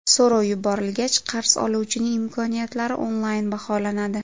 So‘rov yuborilgach, qarz oluvchining imkoniyatlari onlayn baholanadi.